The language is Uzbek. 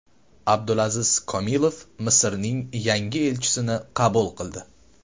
Abdulaziz Komilov Misrning yangi elchisini qabul qildi.